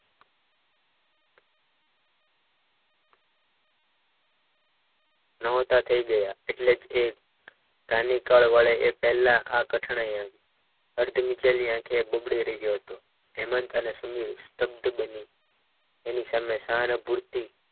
ન હોતા થઈ ગયા એટલે જ એ સ્થાનિક પદ મળે એ પહેલા આ કઠણાઈ આવી અર્ધ વિચેલી આંખ વડે બબડી રહ્યો હતો હેમંત અને સુનિલ શબ્દ બની તેની સામે શાહાનુભૂતિ